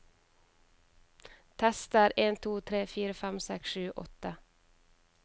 Tester en to tre fire fem seks sju åtte